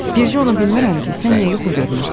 Bircə onu bilmirəm ki, sən niyə yuxu görmürsən?